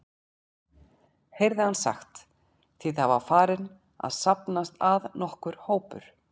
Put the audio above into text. heyrði hann sagt, því það var farinn að safnast að nokkur hópur.